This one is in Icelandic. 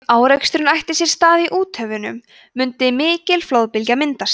ef áreksturinn ætti sér stað í úthöfunum mundi mikil flóðbylgja myndast